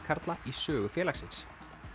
karla í sögu félagsins